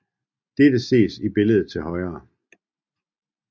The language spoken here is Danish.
Dette ses i billedet til højre